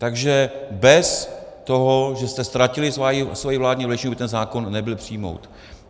Takže bez toho, že jste ztratili svoji vládní většinu, by ten zákon nebyl přijat.